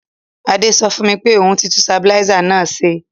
Adé so fùn mi pe oun ti tun stabilizer náà se